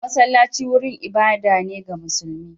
Masallaci wurin ibada ne ga musulmi.